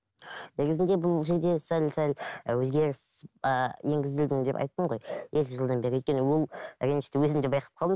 ыыы негізінде бұл жерде сәл сәл і өзгеріс ііі енгізілдім деп айттым ғой екі жылдан бері өйткені ол ренішті өзім де байқап қалдым